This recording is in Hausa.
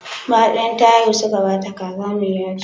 Bayan ta haihu suka ba ta kaza mai yaji.